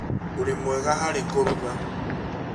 ũrĩ mwega harĩ kũruga